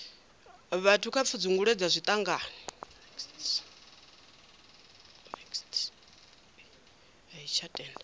vhathu kha pfudzungule dza zwiṱangani